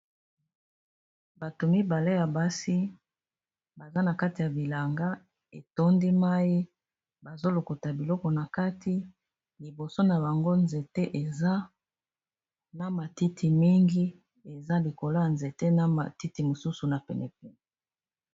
Bato mibale ya basi baza na kati ya bilanga etondi mai, bazolokota biloko na kati, liboso na bango ba nzete eza na ba matiti mingi eza likolo ya nzete na ba matiti mosusu na pene pene.